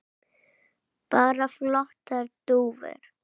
Bara flottar dúfur.